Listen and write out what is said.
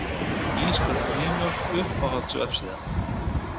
Ísköld nýmjólk Uppáhalds vefsíða?